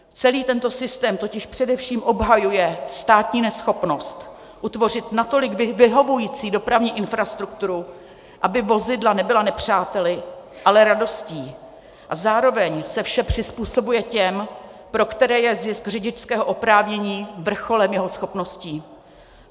Celý tento systém totiž především obhajuje státní neschopnost utvořit natolik vyhovující dopravní infrastrukturu, aby vozidla nebyla nepřáteli, ale radostí, a zároveň se vše přizpůsobuje těm, pro které je zisk řidičského oprávnění vrcholem jejich schopností.